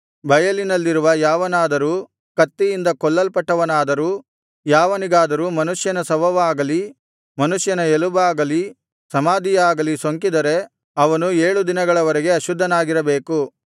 ಬಯಲಿನಲ್ಲಿರುವ ಯಾವನಾದರೂ ಕತ್ತಿಯಿಂದ ಕೊಲ್ಲಲ್ಪಟ್ಟವನಾದರೂ ಯಾವನಿಗಾದರೂ ಮನುಷ್ಯನ ಶವವಾಗಲಿ ಮನುಷ್ಯನ ಎಲುಬಾಗಲಿ ಸಮಾಧಿಯಾಗಲಿ ಸೋಂಕಿದರೆ ಅವನು ಏಳು ದಿನಗಳವರೆಗೆ ಅಶುದ್ಧನಾಗಿರಬೇಕು